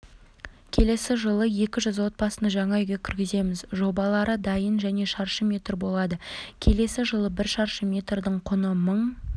келесі жылы екі жүз отбасыны жаңа үйге кіргіземіз жобалары дайын және шаршы метр болады келесі жылы бір шаршы метрдің құны мың